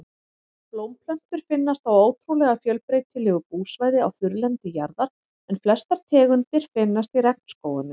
Blómplöntur finnast á ótrúlega fjölbreytilegu búsvæði á þurrlendi jarðar en flestar tegundir finnast í regnskógunum.